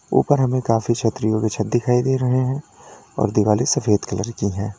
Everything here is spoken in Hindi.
ऊपर हमें काफी छतरियों के छत दिखाई दे रहे हैं और दिवाले सफेद कलर की है।